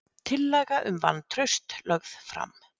Tillaga um vantraust lögð fram